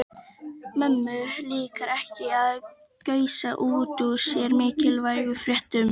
Mömmu líkar ekki að gusa út úr sér mikilvægum fréttum.